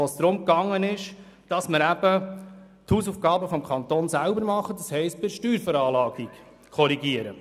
Bei dieser ging es darum, die Hausaufgaben des Kantons selber zu machen, also eine Korrektur bei der Steuerveranlagung vorzunehmen.